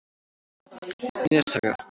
Neshaga